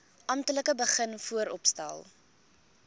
amptelik begin vooropstel